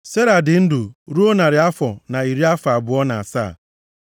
Sera dị ndụ ruo narị afọ na iri afọ abụọ na asaa.